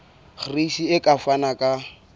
gcis e ka fana ka